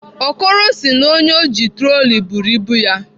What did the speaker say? Okoro sị na onye ọ ji troli buru ibu ya.